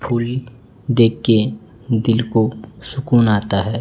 फुलीग देख के दिल को सकून आता है।